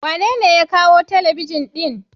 Wa nene ya kawo Telebijin din?